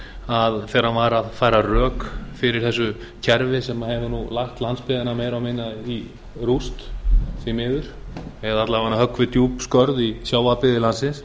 þegar hann var að færa rök fyrir þessu kerfi sem hefur nú lagt landsbyggðina meira og minna í rúst því miður eða alla vega höggvið djúp skörð í sjávarbyggðir landsins